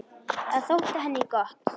Það þótti henni gott.